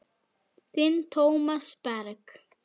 Þinn Tómas Berg.